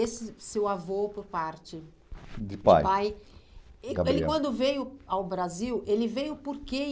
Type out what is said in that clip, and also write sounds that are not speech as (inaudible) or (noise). Esse seu avô por parte de pai, de pai, (unintelligible) ele quando veio ao Brasil, ele veio por quê? E